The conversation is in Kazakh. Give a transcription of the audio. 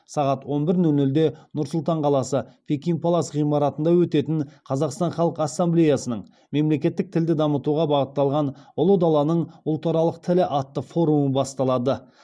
сағат он бір нөл нөлде нұр сұлтан қаласы пекин палас ғимаратында өтетін қазақстан халқ ассамблеясының мемлекеттік тілді дамытуға бағытталған ұлы даланың ұлтаралық тілі атты форумы басталады